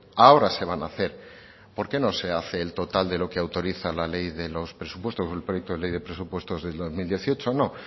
ahora se van a hacer por qué no se hace el total de lo que autoriza la ley de los presupuestos del proyecto de ley de los presupuestos del dos mil dieciocho no